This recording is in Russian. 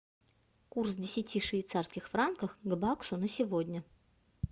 курс десяти швейцарских франков к баксу на сегодня